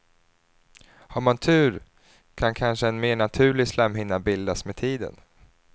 Har man tur kan kanske en mer naturlig slemhinna bildas med tiden.